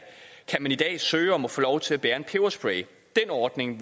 i dag kan søge om at få lov til at bære en peberspray en ordning